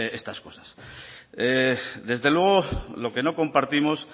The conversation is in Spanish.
estas cosas desde luego lo que no compartimos